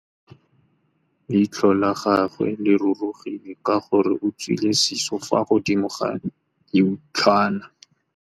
Leitlhô la gagwe le rurugile ka gore o tswile sisô fa godimo ga leitlhwana.